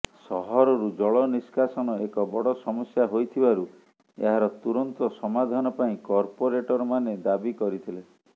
ସହରରୁ ଜଳନିଷ୍କାସନ ଏକ ବଡ଼ ସମସ୍ୟା ହୋଇଥିବାରୁ ଏହାର ତୁରନ୍ତ ସମାଧାନ ପାଇଁ କର୍ପୋରେଟରମାନେ ଦାବି କରିଥିଲେ